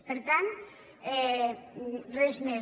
per tant res més